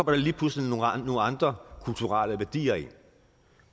der lige pludselig nogle andre kulturelle værdier ind